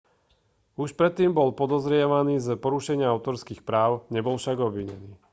už predtým bol podozrievaný z porušenia autorských práv nebol však obvinený